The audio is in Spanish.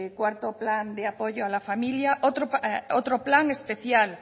cuarto plan de apoyo a la familia otro plan especial